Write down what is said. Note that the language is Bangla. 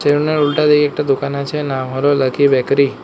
সেলুন এর উল্টাদিকে একটা দোকান আছে নাম হলো লাকি বেকারি ।